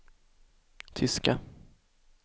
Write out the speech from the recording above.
tyska